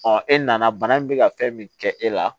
e nana bana min bɛ ka fɛn min kɛ e la